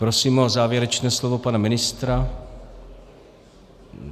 Prosím o závěrečné slovo pana ministra.